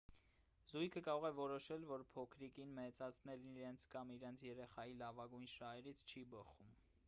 զույգը կարող է որոշել որ փոքրիկին մեծացնելն իրենց կամ իրենց երեխայի լավագույն շահերից չի բխում